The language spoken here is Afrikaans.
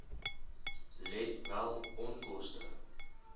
let wel onkoste